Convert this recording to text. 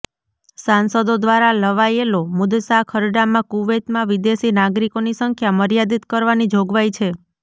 સાંસદો દ્વારા લવાયેલો મુસદ્દા ખરડામાં કુવૈતમાં વિદેશી નાગરિકોની સંખ્યા મર્યાદિત કરવાની જોગવાઈ છે